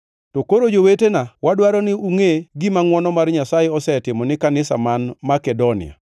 To koro jowetewa wadwaro ni ungʼe gima ngʼwono mar Nyasaye osetimo ni kanisa man Makedonia.